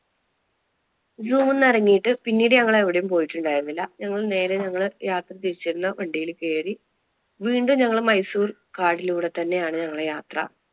zoo ന്ന് ഇറങ്ങിട്ട് പിന്നീട് ഞങ്ങൾ എവിടെയും പോയിട്ടുണ്ടായിരുന്നില്ല, ഞങ്ങൾ നേരെ ഞങ്ങള് യാത്ര തിരിച്ചിരുന്ന വണ്ടിയിൽ കേറി വീണ്ടും ഞങ്ങൾ മൈസൂർ കാട്ടിലൂടെ തന്നെ ആണ് ഞങ്ങളുടെ യാത്ര.